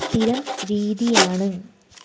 സ്ഥിരം രീതിയാണ്